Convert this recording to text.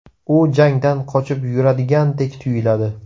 U jangdan qochib yuradigandek tuyuladi.